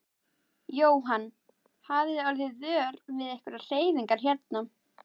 Jóhann: Hafið þið orðið vör við einhverjar hreyfingar hérna?